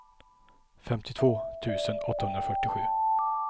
femtiotvå tusen åttahundrafyrtiosju